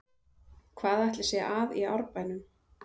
Hvað ætli sé að í Árbænum?